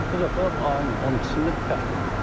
Amma bu dəfə ayın 12-də bərk oldu.